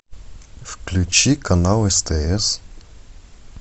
включи канал стс